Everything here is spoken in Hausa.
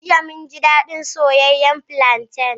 Jiya, mun ji daɗin soyayyen plantain.